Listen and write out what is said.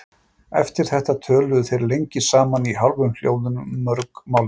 Eftir þetta töluðu þeir lengi saman í hálfum hljóðum um mörg málefni.